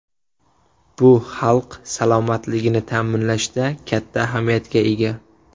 Bu xalq salomatligini ta’minlashda katta ahamiyatga ega.